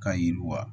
Ka yiriw wa